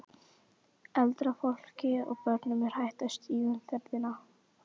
Eldra fólki og börnum er hættast í umferðinni.